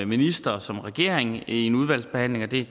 minister og som regering i en udvalgsbehandling og det